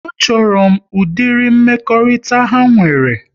A chọrọ m ụdịrị mmekọrịta ha nwere